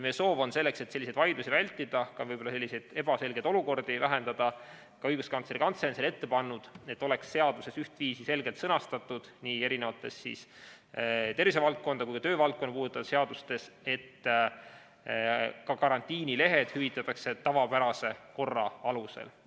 Meie soov on, selleks et vaidlusi vältida ja võib-olla ebaselgeid olukordi vähendada – ka Õiguskantsleri Kantselei on seda ette pannud –, et seadustes, nii tervisevaldkonda kui ka töövaldkonda puudutavates seadustes oleks ühtviisi selgelt sõnastatud, et ka karantiinilehed hüvitataks tavapärase korra alusel.